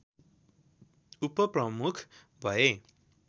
उपप्रमुख भए